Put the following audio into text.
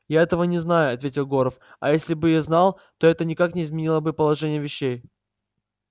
я этого не знаю ответил горов а если бы и знал то это никак не изменило бы положения вещей